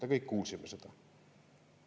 Me kõik kuulsime seda.